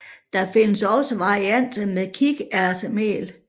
Der findes også varianter med kikærtemel